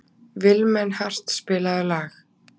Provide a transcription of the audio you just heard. Vilmenhart, spilaðu lag.